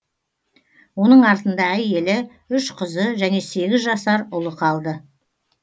оның артында әйелі үш қызы және сегіз жасар ұлы қалды